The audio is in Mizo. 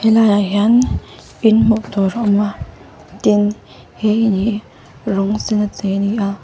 he lai ah hian in hmuh tur a awm a tin he in hi rawng sen a chei ani a.